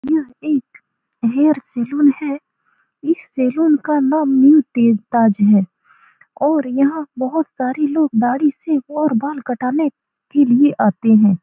यह एक hair salon है इस सैलून का नाम न्यू तेज ताज है और यहाँ बहुत सारे लोग दाढ़ी सेव और बाल कटाने के लिए आते हैं।